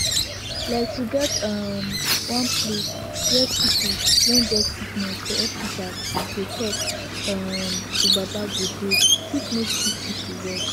like to get um one place where pipu wen get sickiness for hospitas go talk um to baba godey fit make sicki pipu well